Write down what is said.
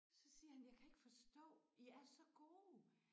Så siger han jeg kan ikke forstå I er så gode